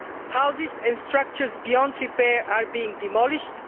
Houses and structures beyond repair are being demolished